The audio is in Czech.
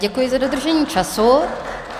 Děkuji za dodržení času.